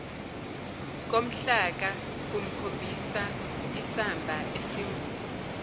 komhlaka kukhombisaisamba esingu